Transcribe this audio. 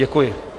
Děkuji.